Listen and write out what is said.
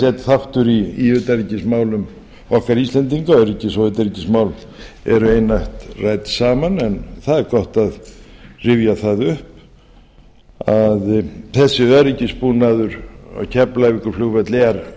einn partur í utanríkismálum okkar íslendinga öryggis og utanríkismál eru einatt rædd saman en það er gott að rifja það upp að þessi öryggisbúnaður á keflavíkurflugvelli er